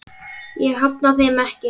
Ég hafna þeim ekki.